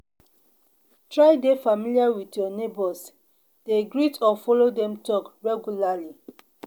try de familiar with your neighbors de greet or follow dem talk regularly